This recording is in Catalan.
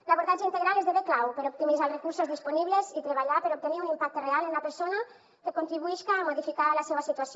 l’abordatge integral esdevé clau per optimitzar els recursos disponibles i treballar per obtenir un impacte real en la persona que contribuixca a modificar la seua situació